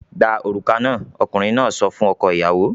"Gba òrùka náà!" Ọkùnrin náà sọ fún ọkọ-ìyàwó.